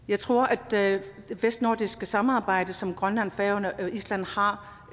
jeg tror at det vestnordiske samarbejde som grønland færøerne og island har